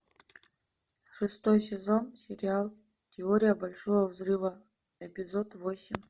шестой сезон сериал теория большого взрыва эпизод восемь